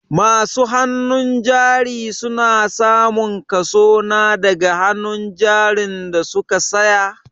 Masu hannun jari su na samun kaso na daga hannun jarin da su ka saya.